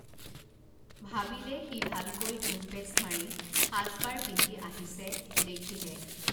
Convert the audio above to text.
ভাবিলে সি ভালকৈ ধুন পেচ মাৰি সাজ পাৰ পিন্ধি আহিছে দেখিহে